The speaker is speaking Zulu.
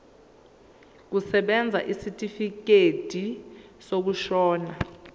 kusebenza isitifikedi sokushona